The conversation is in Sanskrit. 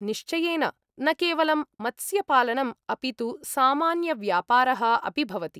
निश्चयेन! न केवलं मत्स्यपालनम्, अपि तु सामान्यव्यापारः अपि भवति।